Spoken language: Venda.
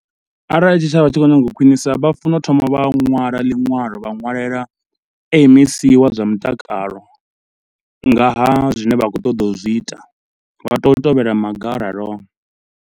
Arali tshitshavha tshi khou nyanga u khwiṋisa vha funa u thoma vha nwala liṅwalo, vha ṅwalela M_E_C wa zwa mutakalo nga ha zwine vha khou ṱoḓa u zwi ita, vha toyo u tevhela maga o raloho.